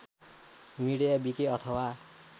media wiki अथवा